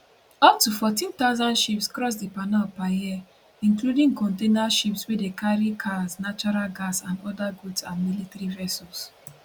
up to 14000 ships cross di canal per year including container ships wey dey carry cars natural gas and oda goods and military vessels